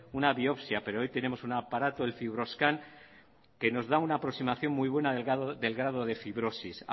una biopsia pero hoy tenemos un aparato de fibroscan que nos da una aproximación muy buena del grado de fibrosis